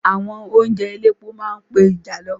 Àwọn oúnjẹ elépo máa ń pe ìjàlọ.